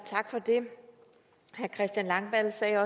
tak for det herre christian langballe sagde